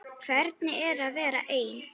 Hvernig er að vera ein?